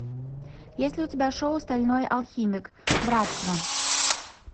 есть ли у тебя шоу стальной алхимик братство